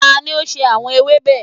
Tani o ṣe awọn ewébe?